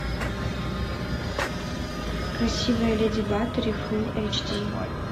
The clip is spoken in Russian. красивая леди батори фул эйч ди